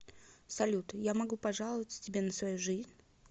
салют я могу пожаловаться тебе на свою жизнь